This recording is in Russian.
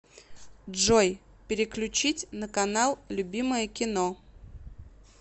джой переключить на канал любимое кино